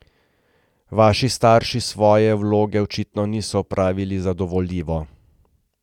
Vaši starši svoje vloge očitno niso opravili zadovoljivo.